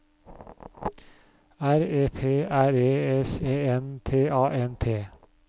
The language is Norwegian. R E P R E S E N T A N T